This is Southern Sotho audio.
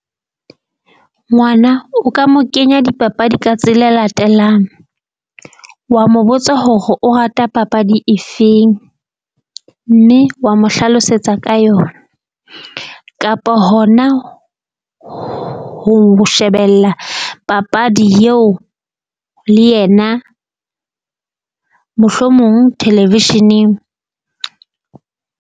Ngwana o ka mo kenya dipapadi ka tsela e latelang. Wa mo botsa hore o rata papadi efeng, mme wa mo hlalosetsa ka yona. Kapa hona ho shebella papadi eo le yena mohlomong television-eng.